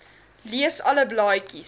lees alle blaadjies